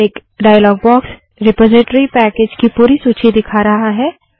एक dialogue box repository package की पूरी सूची दिखा रहा है